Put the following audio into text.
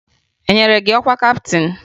E nyere gị ọkwa kaptịn?